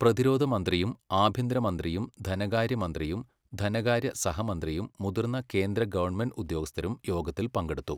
പ്രതിരോധ മന്ത്രിയും ആഭ്യന്തര മന്ത്രിയും ധനകാര്യ മന്ത്രിയും ധനകാര്യ സഹമന്ത്രിയും മുതിർന്ന കേന്ദ്ര ഗവണ്മെന്റ് ഉദ്യോഗസ്ഥരും യോഗത്തിൽ പങ്കെടുത്തു.